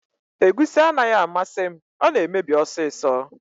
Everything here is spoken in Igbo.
Egusi anaghị amasị m, ọ na emebi ọsịsọ